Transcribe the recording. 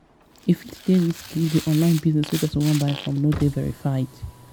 e fit dey risky if di online business wey person wan buy from no dey verified